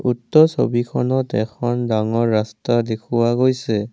উক্ত ছবিখনত এখন ডাঙৰ ৰাস্তা দেখুওৱা গৈছে।